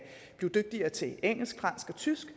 blive dygtigere til engelsk fransk og tysk